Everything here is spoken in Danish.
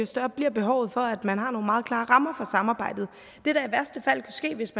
større bliver behovet for at man har nogle meget klare rammer for samarbejdet det der i værste fald kunne ske hvis